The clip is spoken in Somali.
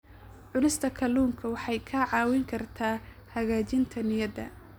Cunista kalluunka waxay kaa caawin kartaa hagaajinta niyadda.